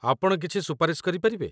ଆପଣ କିଛି ସୁପାରିଶ କରିପାରିବେ?